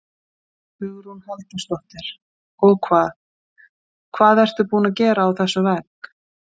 Hugrún Halldórsdóttir: Og hvað, hvað ertu búin að gera á þessum vegg?